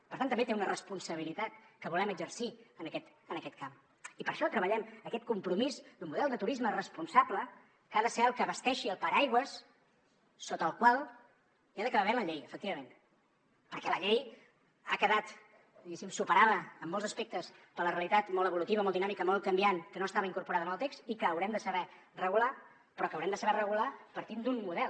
per tant també té una responsabilitat que volem exercir en aquest camp i per això treballem aquest compromís d’un model de turisme responsable que ha de ser el que basteixi el paraigua sota el qual hi ha d’acabar havent la llei efectivament perquè la llei ha quedat diguéssim superada en molts aspectes per la realitat molt evolutiva molt dinàmica molt canviant que no estava incorporada en el text i que haurem de saber regular però que haurem de saber regular partint d’un model